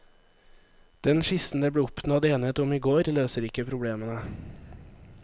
Den skissen det ble oppnådd enighet om i går, løser ikke problemene.